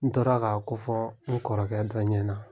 N tora ka ko fɔ n kɔrɔkɛ dɔ ɲɛna